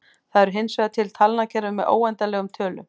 Það eru hinsvegar til talnakerfi með óendanlegum tölum.